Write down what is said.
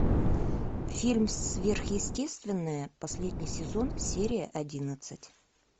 фильм сверхъестественное последний сезон серия одиннадцать